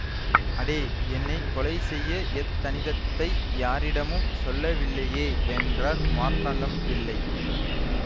அடே என்னை கொலை செய்ய யத்தனிதத்ததை யாரிடமும் சொல்லவில்லையே என்றார் மார்த்தாண்டம் பிள்ளை